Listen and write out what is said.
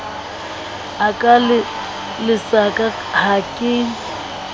a ka lesaka ha ke